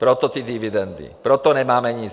Proto ty dividendy, proto nemáme nic.